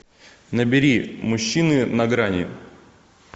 набери мужчины на грани